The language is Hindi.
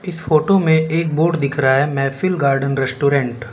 इस फोटो में एक बोर्ड दिख रहा है महफिल गार्डन रेस्टोरेंट ।